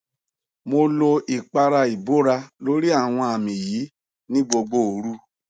mo lo ipara ibora lori awọn ami yi ni gbogbo oru